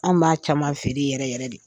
Anw b'a caman feere yɛrɛ yɛrɛ de.